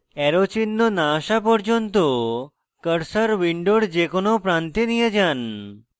arrow চিহ্ন না আসা পর্যন্ত cursor window যে কোনো প্রান্তে নিয়ে যান